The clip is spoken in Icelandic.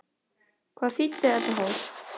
Hvað þýddi þetta þá?